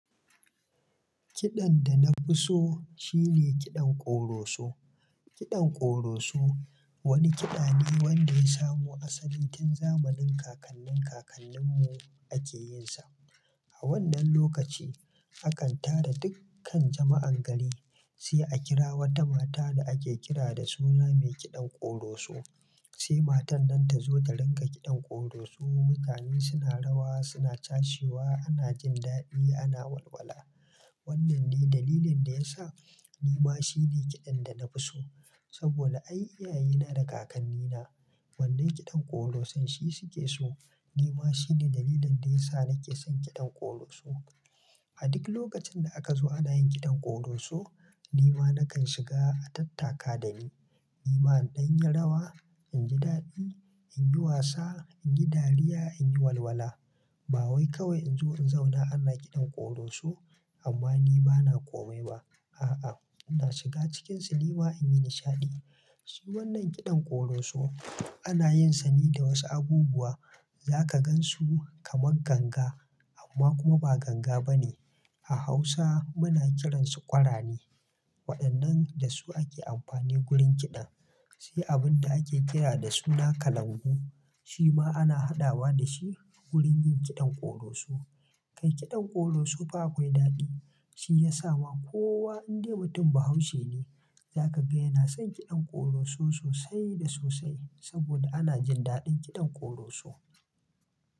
Kiɗan da na fi so shine kiɗan ƙoroso. Kiɗan ƙoroso wani kiɗa ne wanda ya samo asali tun zamanin kakannin kakanninmu ake yinsa. A wannan lokaci akan taru dukkan jama'an gari, sai a kira wata mata da ake kira da suna mai kiɗan ƙoroso. Sai matar nan ta zo ta rinka kiɗan ƙoroso, mutane suna rawa, suna cashewa, ana jin daɗi, ana walwala. Wannan ne dalilin da ya sa ni ma shi ne kiɗan da na fi so. Saboda ai, iyayena da kakannina wannan kiɗan ƙorosan shi suke so, ni ma shi ne dalilin da ya sa nake son kiɗan ƙoroso. A duk lokacin da aka zo ana yin kiɗan ƙoroso, ni ma nakan shiga a tattaka da ni. Ni ma in yi rawa, in ji daɗi, in yi wasa, in yi dariya, in yi walwala. Ba wai kawai in zo in zauna ana kiɗan ƙoroso, amma ni ba na komai ba. A'a, ina shiga cikinsu ni ma in yi nishaɗi. Su wannan kiɗan ƙoroso ana yinsa ne da wasu abubuwa, za ka gan su kamar ganga, amma kuma ba ganga ba ne. A Hausa muna kiransu ƙwarane. Waɗannan da su ake amfani wurin kiɗan. Sai abun da ake kira da suna kalangu, shi ma ana haɗawa da shi wurin yin kiɗan ƙoroso. Kai kiɗan ƙoroso fa akwai daɗi, shi ya sa ma kowa in dai mutum Bahaushe ne, za ka ga yana son kiɗan ƙoroso sosai da sosai saboda ana jin daɗin kiɗan ƙoroso.